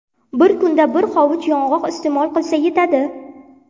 Bir kunda bir hovuch yong‘oq iste’mol qilsa yetadi.